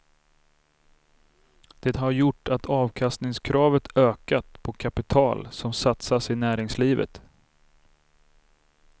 Det har gjort att avkastningskravet ökat på kapital som satsas i näringslivet.